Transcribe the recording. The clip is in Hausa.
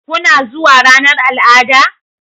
Kuna zuwa ranar al'ada?